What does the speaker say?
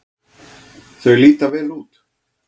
Þau líta vel út.